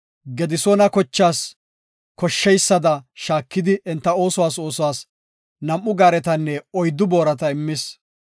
Gedisoona kochaas koshsheysada shaakidi enta oosuwas nam7u gaaretanne oyddu boorata immis.